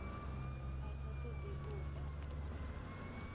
a sa todi u ḽa